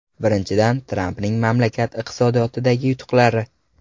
Birinchidan, Trampning mamlakat iqtisodiyotidagi yutuqlari.